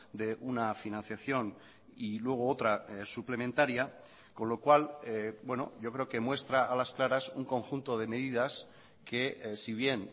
de una financiación y luego otra suplementaria con lo cual yo creo que muestra a las claras un conjunto de medidas que si bien